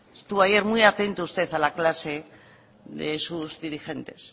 estuvo ayer muy atento usted a la clase de sus dirigentes